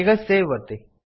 ಈಗ ಸೇವ್ ಒತ್ತಿ